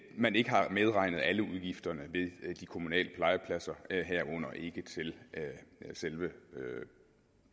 man ikke har medregnet alle udgifterne ved de kommunale legepladser herunder ikke til selve